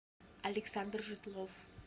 александр жидлов